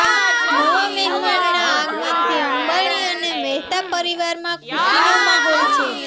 નવા મહેમાનના આગમનથી અંબાણી અને મહેતા પરિવારમાં ખુશીનો માહોલ છે